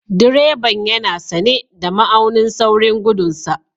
Direban yana sane da ma'aunin saurin gudun sa.